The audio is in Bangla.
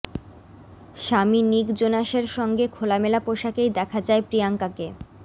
স্বামী নিক জোনাসের সঙ্গে খোলামেলা পোশাকেই দেখা যায় প্রিয়াঙ্কাকে